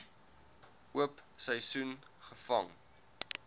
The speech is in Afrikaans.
oop seisoen gevang